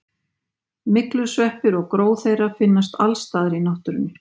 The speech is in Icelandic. myglusveppir og gró þeirra finnast alls staðar í náttúrunni